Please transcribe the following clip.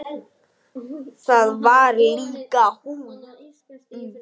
Það var líka hún.